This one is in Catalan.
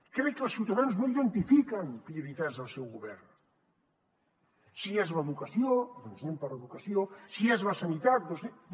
crec que els ciutadans no identifiquen prioritats del seu govern si és l’educació doncs anem per educació si és la sanitat doncs anem